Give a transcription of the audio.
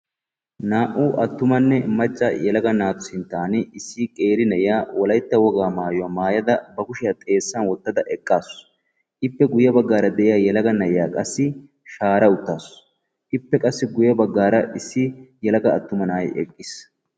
Naa"u attumanne macca yelaga naatu sinttan issi qeeri na'iya wolaytta wogaa maayuwa maayada ba kushiya xeessan wottada eqqa uttaasu, ippe guye baggaara de'iya yelaga na'iya qassi shaara uttaasu. Ippe guyye baggaara qassi issi attuma na'ay eqqiis.